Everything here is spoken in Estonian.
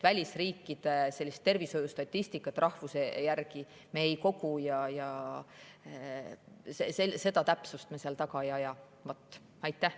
Välisriikide tervishoiustatistikat rahvuse järgi me ei kogu ja sellist täpsust me taga ei aja.